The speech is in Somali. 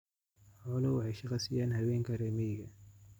Xooluhu waxay shaqo siiyaan haweenka reer miyiga ah.